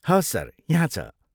हवस सर, यहाँ छ।